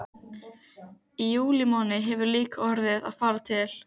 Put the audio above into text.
Í júlímánuði hefur hún líka orðið að fara til